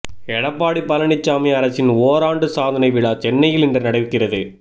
எடப்பாடி பழனிசாமி அரசின் ஓராண்டு சாதனை விழா சென்னையில் இன்று நடக்கிறது